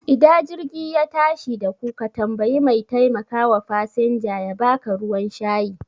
Ida jirgi ya tashi daku ka tambayi mai taimakawa fasanja yaba ka ruwan shayi